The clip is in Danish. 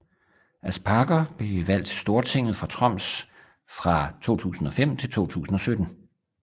Aspaker blev valgt til Stortinget fra Troms fra 2005 til 2017